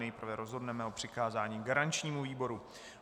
Nejprve rozhodneme o přikázání garančnímu výboru.